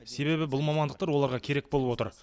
себебі бұл мамандықтар оларға керек болып отыр